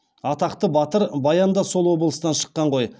атақты батыр баян да сол облыстан шыққан ғой